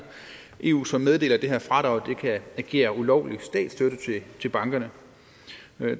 eu så meddelt at det her fradrag kan agere ulovlig statsstøtte til bankerne